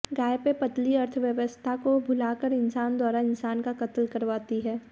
गाय पर पलती अर्थव्यस्था को भुला कर इंसान द्वारा इंसान का कत्ल करवाती है